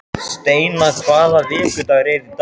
Steina, hvaða vikudagur er í dag?